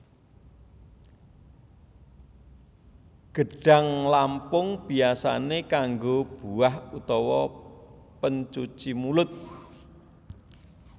Gedhang lampung biasane kanggo buah utawa pencuci mulut